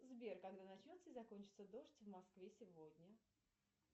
сбер когда начнется и закончится дождь в москве сегодня